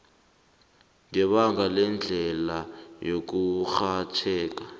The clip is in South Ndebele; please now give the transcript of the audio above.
ngebanga lendlela yokurhatjheka